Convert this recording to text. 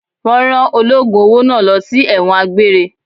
Wọn rán ológun owó náà lọ sí ẹ̀wọ̀n àgbéré.